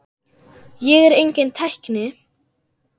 Ég er enginn tækni